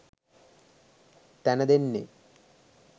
තැන දෙන්නෙ.